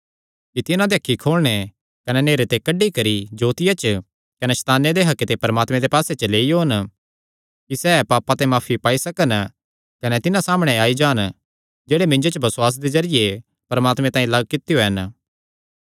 कि तिन्हां दी अखीं खोलणे कने नेहरे ते कड्डी करी जोतिया च कने सैताने दे हक्के ते परमात्मे दे राज्जे च लेई ओन कि सैह़ पापां ते माफी पाई सकन कने तिन्हां सामणै आई जान जेह्ड़े मिन्जो च बसुआस दे जरिये परमात्मे तांई लग्ग कित्यो हन